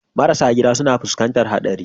Marasa gida suna fuskantar haɗari.